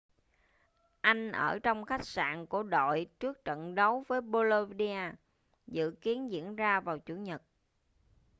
anh ở trong khách sạn của đội trước trận đấu với bolonia dự kiến diễn ra vào chủ nhật